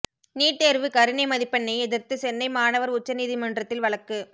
NEET தேர்வு கருணை மதிப்பெண்ணை எதிர்த்து சென்னை மாணவர் உச்சநீதிமன்றத்தில் வழக்கு